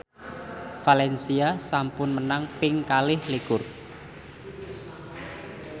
valencia sampun menang ping kalih likur